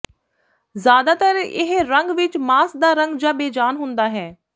ਜ਼ਿਆਦਾਤਰ ਇਹ ਰੰਗ ਵਿਚ ਮਾਸ ਦਾ ਰੰਗ ਜਾਂ ਬੇਜਾਨ ਹੁੰਦਾ ਹੈ